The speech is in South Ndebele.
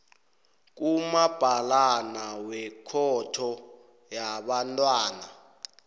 kumabhalana wekhotho yabantwana